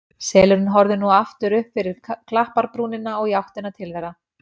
Selurinn horfði nú aftur upp fyrir klapparbrúnina og í áttina til þeirra.